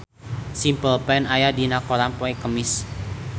Simple Plan aya dina koran poe Kemis